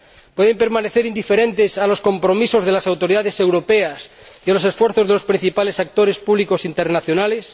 ¿Pueden las agencias permanecer indiferentes a los compromisos de las autoridades europeas y a los esfuerzos de los principales actores públicos internacionales?